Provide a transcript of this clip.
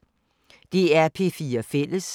DR P4 Fælles